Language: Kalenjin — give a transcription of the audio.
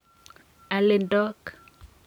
alindok